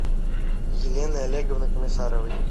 елены олеговны комиссаровой